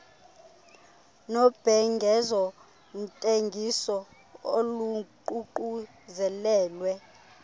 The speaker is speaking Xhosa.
nobhengezo ntengiso oluququzelelwe